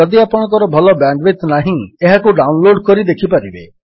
ଯଦି ଆପଣଙ୍କ ଭଲ ବ୍ୟାଣ୍ଡୱିଡଥ୍ ନାହିଁ ଏହାକୁ ଡାଉନଲୋଡ୍ କରି ଦେଖିପାରିବେ